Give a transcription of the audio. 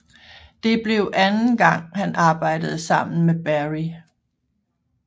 Det blev anden gang han arbejdede sammen med Berry